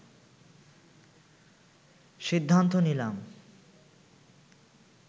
সিদ্ধান্ত নিলাম